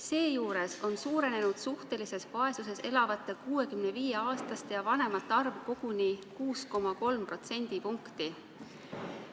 Seejuures on suhtelises vaesuses elavate 65-aastaste ja vanemate inimeste arv suurenenud koguni 6,3% võrra.